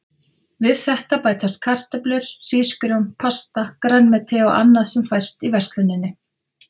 Við þetta bætast kartöflur, hrísgrjón, pasta, grænmeti og annað sem fæst í versluninni.